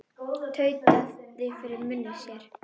Tautaði fyrir munni sér.